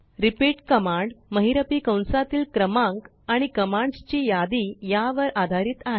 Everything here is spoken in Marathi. repeatकमांड महिरपी कंसातील क्रमांक आणि कमांड्सची यादी यांवर आधारीत आहे